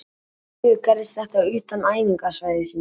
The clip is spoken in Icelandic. Því miður gerðist þetta utan æfingasvæðisins.